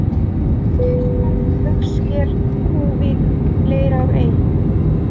Síkisbarð, Haugsker, Kúvík, Leirárey